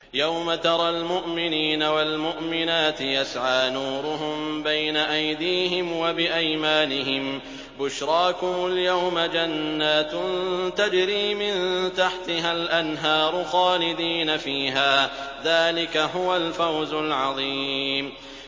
يَوْمَ تَرَى الْمُؤْمِنِينَ وَالْمُؤْمِنَاتِ يَسْعَىٰ نُورُهُم بَيْنَ أَيْدِيهِمْ وَبِأَيْمَانِهِم بُشْرَاكُمُ الْيَوْمَ جَنَّاتٌ تَجْرِي مِن تَحْتِهَا الْأَنْهَارُ خَالِدِينَ فِيهَا ۚ ذَٰلِكَ هُوَ الْفَوْزُ الْعَظِيمُ